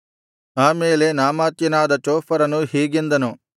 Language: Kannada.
ಆ ಮೇಲೆ ನಾಮಾಥ್ಯನಾದ ಚೋಫರನು ಹೀಗೆಂದನು